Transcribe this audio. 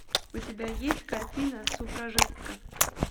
у тебя есть картина суфражистка